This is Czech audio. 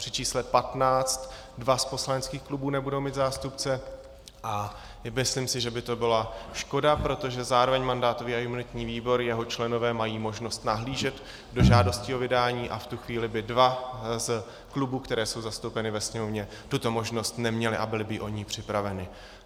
Při čísle 15 dva z poslaneckých klubů nebudou mít zástupce a myslím si, že by to byla škoda, protože zároveň mandátový a imunitní výbor, jeho členové mají možnost nahlížet do žádostí o vydání a v tu chvíli by dva z klubů, které jsou zastoupeny ve Sněmovně, tuto možnost neměly a byly by o ni připraveny.